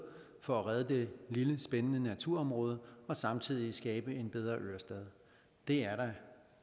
for det at redde det lille spændende naturområde og samtidig skabe en bedre ørestad det er da